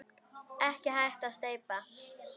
Ekki hægt að steypa.